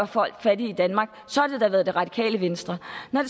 folk fattige i danmark så er det da det radikale venstre